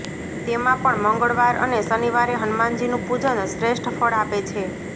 તેમાં પણ મંગળવાર અને શનિવારે હનુમાનજીનું પૂજન શ્રેષ્ઠ ફળ આપે છે